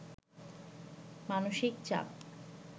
মানসিক চাপ